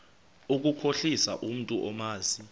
ukukhohlisa umntu omazi